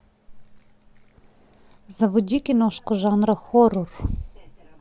заводи киношку жанра хоррор